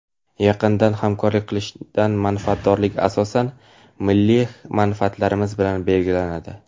Yaqindan hamkorlik qilishdan manfaatdorlik asosan milliy manfaatlarimiz bilan belgilanadi.